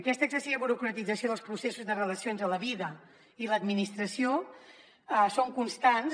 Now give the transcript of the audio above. aquesta excessiva burocratització dels processos de relacions a la vida i a l’administració són constants